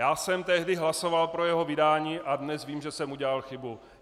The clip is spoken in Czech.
Já jsem tehdy hlasoval pro jeho vydání a dnes vím, že jsem udělal chybu.